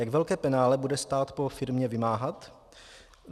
Jak velké penále bude stát po firmě vymáhat?